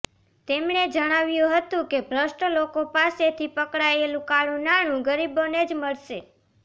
તેમણે જણાવ્યું હતું કે ભ્રષ્ટ લોકો પાસેથી પકડાયેલું કાળું નાણું ગરીબોને જ મળશે